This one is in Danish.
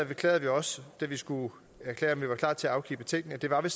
beklagede vi også da vi skulle erklære om vi var klar til at afgive betænkning at det var vi